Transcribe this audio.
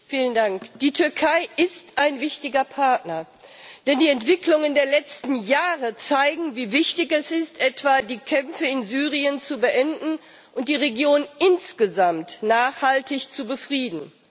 Herr Präsident! Die Türkei ist ein wichtiger Partner, denn die Entwicklungen der letzten Jahre zeigen, wie wichtig es ist, etwa die Kämpfe in Syrien zu beenden und die Region insgesamt nachhaltig zu befrieden.